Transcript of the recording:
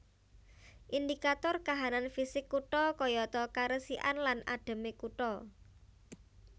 Indikator kahanan fisik kutha kayata karesikan lan adheme kutha